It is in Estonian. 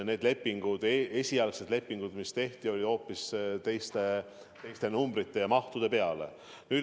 Esialgsed lepingud, mis tehti, sõlmiti hoopis teiste mahtude kohta.